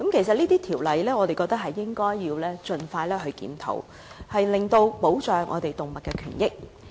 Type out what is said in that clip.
我認為應該盡快檢討相關條例，以保障動物權益。